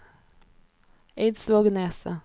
Eidsvågneset